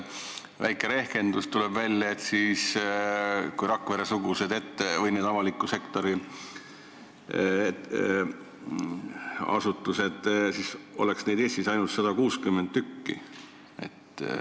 Väike rehkendus ja tuleb välja, et selliseid avaliku sektori asutusi oleks siis Eestis ainult 160 tükki.